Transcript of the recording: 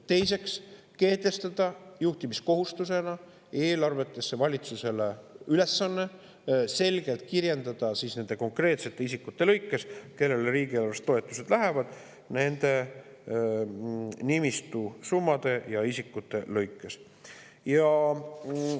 Teiseks, kehtestada juhtimiskohustusena eelarvetesse valitsusele ülesanne selgelt kirjeldada konkreetsete isikute kaupa, kellele riigieelarvest toetused lähevad, ning esitada nimistu summade ja.